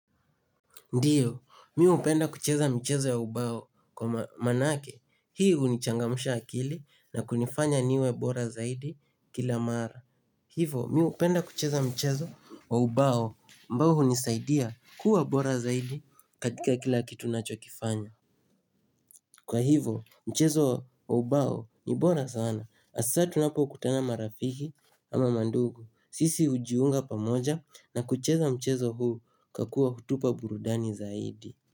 Ndiyo, mi hupenda kucheza mchezo wa ubao kwa manake. Hii hunichangamsha akili na kunifanya niwe bora zaidi kila mara. Hivo, mi hupenda kucheza mchezo wa ubao ambao hunisaidia kuwa bora zaidi katika kila kitu nachokifanya. Kwa hivo, mchezo wa ubao ni bora sana. Hasaa tunapokutana marafiki ama mandugu. Sisi hujiunga pamoja na kucheza mchezo huu kwa kuwa hutupa burudani zaidi.